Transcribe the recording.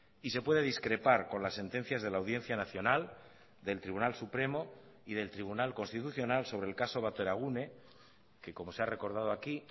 y se puede discrepar con las sentencias de la audiencia nacional del tribunal supremo y del tribunal constitucional sobre el caso bateragune que como se ha recordado aquí